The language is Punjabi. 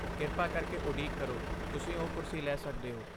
ਕਿਰਪਾ ਕਰਕੇ ਉਡੀਕ ਕਰੋ, ਤੁਸੀਂ ਉਹ ਕੁਰਸੀ ਲੈ ਸਕਦੇ ਹੋ।